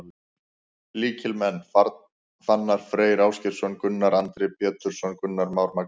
Lykilmenn: Fannar Freyr Ásgeirsson, Gunnar Andri Pétursson, Gunnar Már Magnússon.